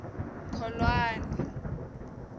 kholwane